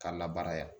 Ka labara yan